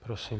Prosím.